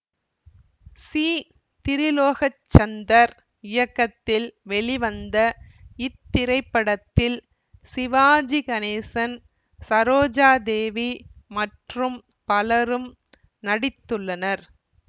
C Tirulokchandar இயக்கத்தில் வெளிவந்த இத்திரைப்படத்தில் சிவாஜி கணேசன் சரோஜா தேவி மற்றும் பலரும் நடித்துள்ளனர்